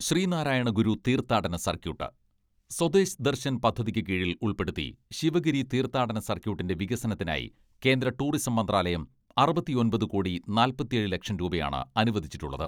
ശ്രീനാരായണഗുരു തീർത്ഥാടന സർക്യൂട്ട്, സ്വദേശ് ദർശൻ പദ്ധതിക്കു കീഴിൽ ഉൾപ്പെടുത്തി ശിവഗിരി തീർത്ഥാടന സർക്യൂട്ടിന്റെ വികസനത്തിനായി കേന്ദ്ര ടൂറിസം മന്ത്രാലയം അറുപത്തിയൊമ്പത് കോടി നാല്പത്തിയേഴ് ലക്ഷം രൂപയാണ് അനുവദിച്ചിട്ടുള്ളത്.